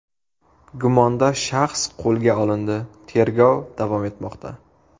Gumondor shaxs qo‘lga olindi, tergov davom etmoqda.